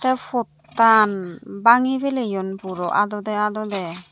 te pottan banggi peleyoun puro adode adode.